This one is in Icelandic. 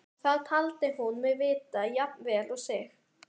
Það taldi hún mig vita jafn vel og sig.